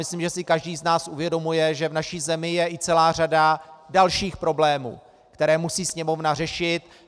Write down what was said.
Myslím, že si každý z nás uvědomuje, že v naší zemi je i celá řada dalších problémů, které musí Sněmovna řešit.